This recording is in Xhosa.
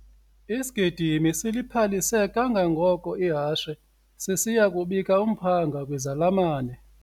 Isigidimi siliphalise kangangoko ihashe sisiya kubika umphanga kwizalamane.